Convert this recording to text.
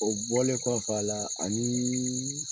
O bɔlen kɔf'aa ani